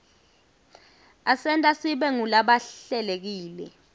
asenta sibe ngulabahlelekile